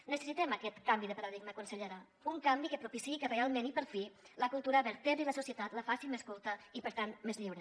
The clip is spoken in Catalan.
necessitem aquest canvi de paradigma consellera un canvi que propiciï que realment i per fi la cultura vertebri la societat la faci més culta i per tant més lliure